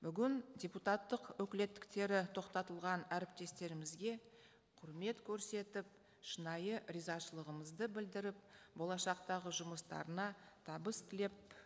бүгін депутаттық өкілеттіктері тоқтатылған әріптестерімізге құрмет көрсетіп шынайы ризашылығымызды білдіріп болашақтағы жұмыстарына табыс тілеп